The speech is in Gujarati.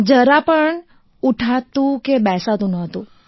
જરા પણ ઉઠાતું કે બેસાતું નહોતું